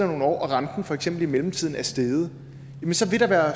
nogle år og renten for eksempel i mellemtiden er steget så vil der være